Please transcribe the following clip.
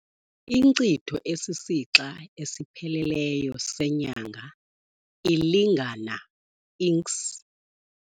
Inkcitho esisixa esipheleleyo seNyanga ilingana Inkc.